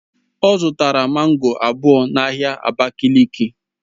Ọ zụtara mango abụọ n'ahịa abakiliki